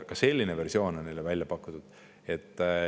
Ka selline võimalus on neile välja pakutud.